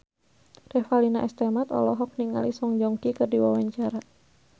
Revalina S. Temat olohok ningali Song Joong Ki keur diwawancara